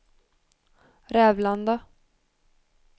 Rävlanda